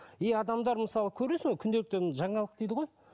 и адамдар мысалы көресің күнделіктен жаңалық дейді ғой